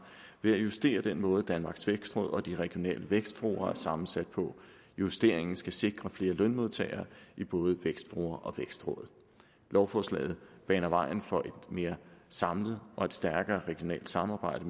ved at justere den måde danmarks vækstråd og de regionale vækstfora er sammensat på justeringen skal sikre flere lønmodtagere i både vækstfora og vækstråd lovforslaget baner vejen for et mere samlet og stærkere regionalt samarbejde